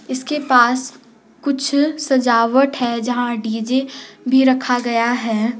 इसके पास कुछ सजावट है जहां डी_जे भी रखा गया है।